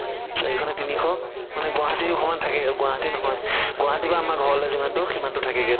চাৰিশ নে তিনিশ মানে গুৱাহাতি সমানে থাকে গুৱাহাতি নহয় গুৱাহাতিৰ পৰা আমাৰ ঘৰলে যিমান দুৰ সিমান দুৰ থাকে গে